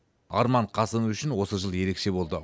арман қасымов үшін осы жыл ерекше болды